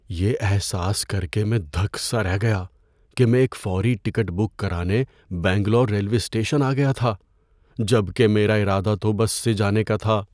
‏یہ احساس کر کے میں دھک سا رہ گیا کہ میں ایک فوری ٹکٹ بک کرانے بنگلور ریلوے اسٹیشن آ گیا تھا جب کہ میرا ارادہ تو بس سے جانے کا تھا۔